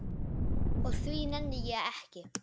Og því nenni ég ekki.